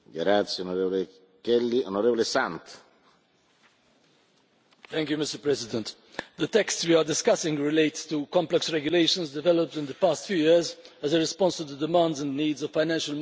Mr President, the texts we are discussing relate to complex regulations developed in the past few years as a response to the demands and needs of financial markets in Europe and elsewhere.